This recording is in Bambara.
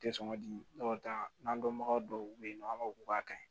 U tɛ sɔn ka di dɔw ta n'an dɔnbaga dɔw be yen nɔ u b'a fɔ k'u k'a kaɲi